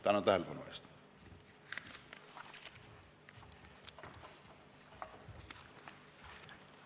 Tänan tähelepanu eest!